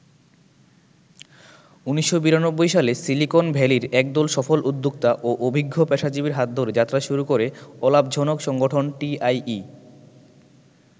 ১৯৯২ সালে সিলিকন ভ্যালির একদল সফল উদ্যোক্তা ও অভিজ্ঞ পেশাজীবীর হাত ধরে যাত্রা শুরু করে ‘অলাভজনক’ সংগঠন টিআইই।